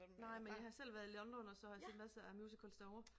Nej men jeg har selv været i London og så har set masser af musicals derovre